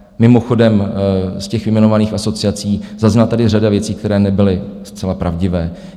Mimochodem, z těch vyjmenovaných asociací zazněla tady řada věcí, které nebyly zcela pravdivé.